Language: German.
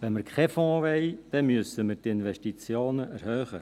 Wenn wir keinen Fonds wollen, müssen wir die Investitionen erhöhen.